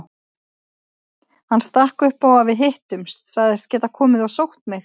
Hann stakk upp á að við hittumst, sagðist geta komið og sótt mig.